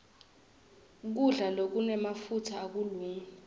kudla lokunemafutsa akukalungi